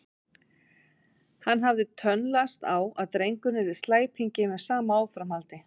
Hann hafði tönnlast á að drengurinn yrði slæpingi með sama áframhaldi.